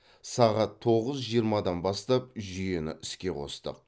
сағат тоғыз жиырмадан бастап жүйені іске қостық